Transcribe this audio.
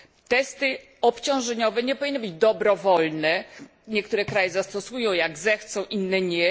Testy obciążeniowe nie powinny być dobrowolne niektóre kraje zastosują, jak zechcą, inne nie.